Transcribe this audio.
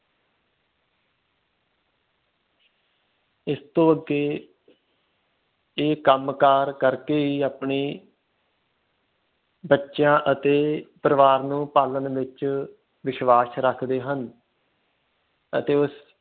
ਇਸ ਤੋਂ ਅੱਗੇ ਇਹ ਕੰਮ ਕਰ ਕਰਕੇ ਹੀ ਆਪਣੇ ਬੱਚਿਆਂ ਅਤੇ ਪਰਿਵਾਰ ਨੂੰ ਪਾਲਣ ਵਿਚ ਵਿਸ਼ਵਾਸ ਰੱਖਦੇ ਹਨ ਅਤੇ ਉਸ